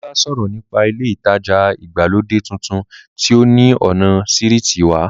Dàmọ́lá sọ̀rọ̀ nípa ilé ìtajà ìgbàlódé tuntun tí ó ní ọ̀nà sírìtì wa